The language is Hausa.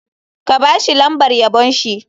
Ka ba shi lambar yabon shi.